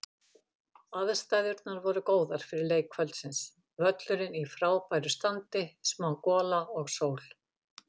Aðstæðurnar voru góðar fyrir leik kvöldsins, völlurinn í frábæra standi, smá gola og sól.